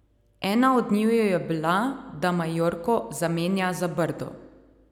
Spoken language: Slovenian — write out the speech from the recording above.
Ena od njiju je bila, da Majorko zamenja za Brdo.